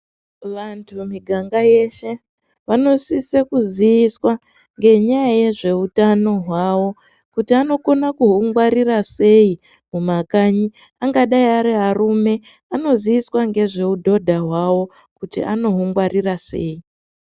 Vantu miganga yeshe vanosisa kuziviswa ngenyaya yezveutano hwavo kuti anokone kuhungwarira sei mumakanyi angadai ariarume anoziiswa ngezveudhodha hwavo kuti anohungwarira sei.